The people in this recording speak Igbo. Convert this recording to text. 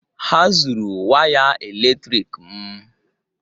Ha zuru waya eletrik m